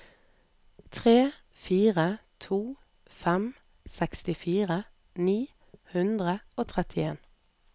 tre fire to fem sekstifire ni hundre og trettien